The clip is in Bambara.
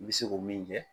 I bɛ se ko min kɛ